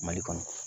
Mali kɔnɔ